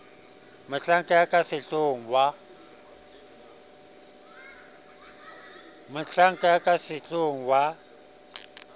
mohlanka ya ka sehloohong wa